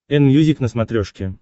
энмьюзик на смотрешке